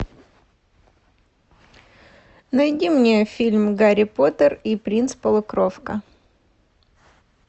найди мне фильм гарри поттер и принц полукровка